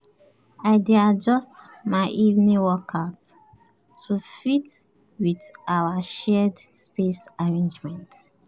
i dey adjust my evening workouts to fit with our shared space arrangement.